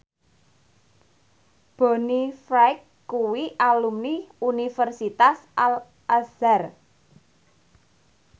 Bonnie Wright kuwi alumni Universitas Al Azhar